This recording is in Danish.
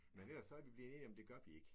Men ellers så er vi blevet enige om det gør vi ikke